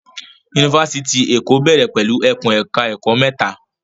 Yunifásitì ti Èkó bẹ̀rẹ̀ pẹ̀lú ẹkùn ẹ̀ka ẹ̀kó mẹ́ta.